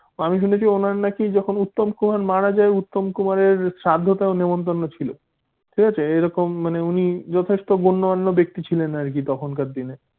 আমি শুনেছি ওনার নাকি যখন উত্তম কুমার মারা যায় উত্তম কুমারের শ্রাদ্ধতেও নিমন্ত্রণ ছিল ঠিক আছে? মানে এইরকম উনি যথেষ্ট গণ্যমান্য ব্যক্তি ছিলেন তখনকার দিনে